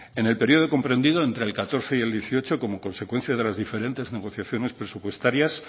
en el periodo comprendido entre el dos mil catorce y el dos mil dieciocho como consecuencia de las diferentes negociaciones presupuestarias